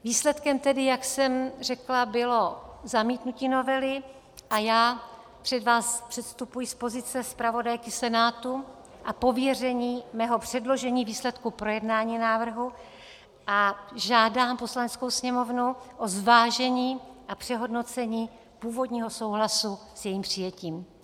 Výsledkem tedy, jak jsem řekla, bylo zamítnutí novely a já před vás předstupuji z pozice zpravodajky Senátu a pověření mého předložení výsledků projednání návrhu a žádám Poslaneckou sněmovnu o zvážení a přehodnocení původního souhlasu s jejím přijetím.